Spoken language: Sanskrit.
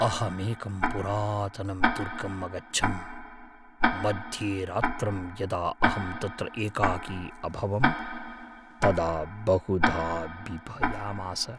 अहमेकं पुरातनं दुर्गम् अगच्छम्, मध्येरात्रं यदा अहं तत्र एकाकी अभवम् तदा बहुधा बिभयामास।